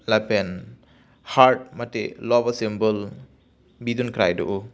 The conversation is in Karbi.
lapen heart mate love a symbol bidun krai do o.